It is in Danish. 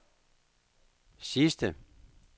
sidste